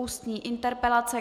Ústní interpelace